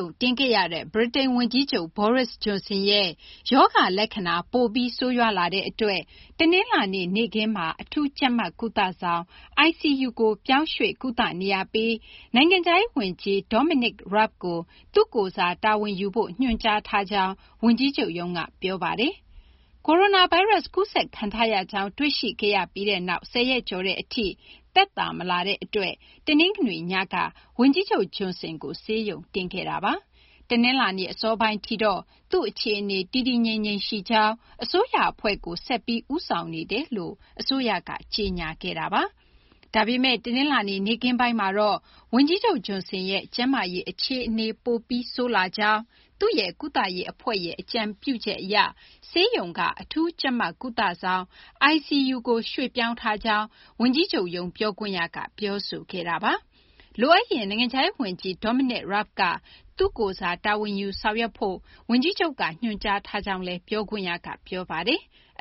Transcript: ုံတင်ခဲ့ရတဲ့ ဗြိတိန် ဝန်ကြီးချုပ် Boris Johnson ရဲ့ ရောဂါလက္ခဏာ ပိုပြီး ဆိုးရွားလာတဲ့ အတွက် တနလာၤနေ့မှာ အထူးကြပ်မတ်ကုသဆောင် ICU ကို ရွှေ့ပြောင်း ကုသနေရပြီး နိုင်ငံခြားရေး ဝန်ကြီး Dominic Rabb ကို သူ့ကိုယ်စား တာဝန်ယူဖို့ ညွှန်ကြားထားကြောင်း ဝန်ကြီးချုပ်ရုံးက ပြောဆိုထား ပါတယ်။ ကိုရိုနာဗိုင်းရပ်စ် ကူးစက်ခံထားရကြောင်း တွေ့ရှိခဲ့ပြီးနောက် ၁၀ ရက်ကျော်တဲ့ အထိ သက်သာမလာတဲ့ အတွက် တနင်္ဂနွေနေ့ညက ဝန်ကြီးချုပ် Johnson ကို ဆေးရုံတင်ခဲ့တာပါ။ တနလာၤနေ့ အစောပိုင်းထိတော့ သူ့အခြေအနေ တည်တည်ငြိမ်ငြိမ်ရှိကြောင်း၊ အစိုးရ အဖွဲ့ကို ဆက်လက် ဦးဆောင်နေတယ်လို့ အစိုးရက ကြေညာထားတာပါ။ ဒါပေမယ့် တနလာၤနေ့ နေ့ခင်းပိုင်းမှာတော့ ဝန်ကြီးချုပ် Johnson ရဲ့ ကျန်းမာရေး အခြေအနေ ပိုပြီး ဆိုးလာကြောင်း၊ သူ့ရဲ့ ကုသရေး အဖွဲ့ရဲ့ အကြံပေးချက် အရ ဆေးရုံက အထူးကြပ်မတ်ကုသဆောင် ICU ကို ရွှေ့ပြောင်းထားကြောင်း ဝန်ကြီးချုပ်ရုံး ပြောခွင့်ရက ပြောဆိုခဲ့တာပါ။ လိုအပ်ရင် နိုင်ငံခြားရေး ဝန်ကြီး Dominic Raab က သူ့ကိုယ်စား တာဝန်ယူ ဆောင်ရွက်ဖို့ ဝန်ကြီးချုပ်က ညွှန်ကြားထားကြောင်းလည်း ပြောခွင့်ရက ပြောပါတယ်။